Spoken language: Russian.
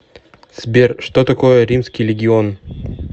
сбер что такое римский легион